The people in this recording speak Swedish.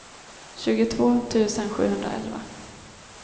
tjugotvå tusen sjuhundraelva